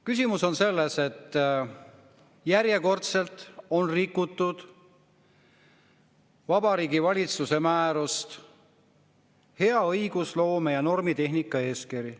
Küsimus on selles, et järjekordselt on rikutud Vabariigi Valitsuse määrust "Hea õigusloome ja normitehnika eeskiri".